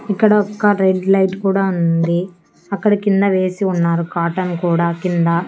ఇక్కడ ఒక red light కూడా ఉంది అక్కడ కింద వేసి ఉన్నారు కాటన్ కూడా కింద.